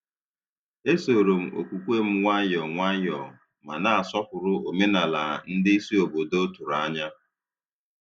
E soro m okwukwe m nwayọ nwayọ, ma na-asọpụrụ omenala ndị isi obodo tụrụ anya.